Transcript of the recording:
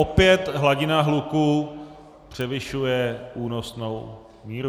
Opět hladina hluku převyšuje únosnou míru.